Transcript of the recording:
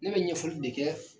Ne bɛ ɲɛfɔli de kɛ